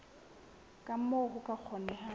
ka moo ho ka kgonehang